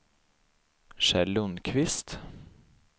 Kjell Lundkvist